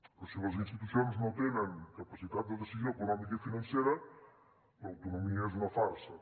però si les institucions no tenen capacitat de decisió econòmica i financera l’autonomia és una farsa